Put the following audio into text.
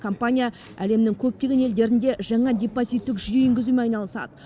компания әлемнің көптеген елдерінде жаңа депозиттік жүйе енгізумен айналысады